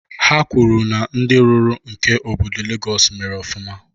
Ha kwuru na ndị rụrụ nke obodo Legọs mere ofụma